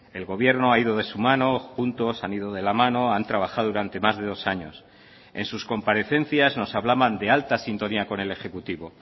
el gobierno ha ido de su mano juntos han ido de la mano han trabajado durante más de dos años en sus comparecencias nos hablaban de alta sintonía con el ejecutivo